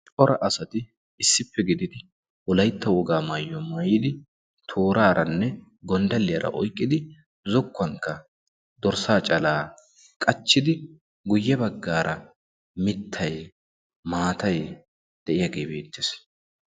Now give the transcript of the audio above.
cora asati issippe gididi wolaytta wogaa maayyuwa maayidi tooraaranne gonddaliyaara oyqqidi zokkuwankka dorssaa calaa qachchidi guyye baggaara mittay maatay de'iyaagee beettees